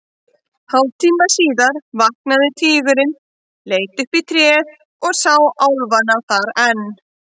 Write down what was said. Hálftíma síðar vaknaði tígurinn, leit upp í tréð og sá álfana þar enn.